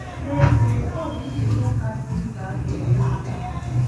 N’ezie, ọ bụ nzukọ kasị mkpa a ga-enwe n’afọ.